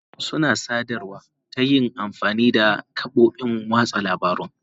Mutane suna sadarwa ta yin amfani da kafofin watsa labarun.